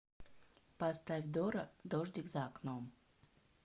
поставь дора дождик за окном